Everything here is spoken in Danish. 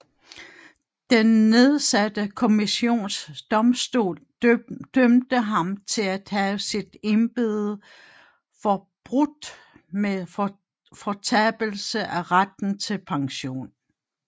Den nedsatte kommissionsdomstol dømte ham til at have sit embede forbrudt med fortabelse af retten til pension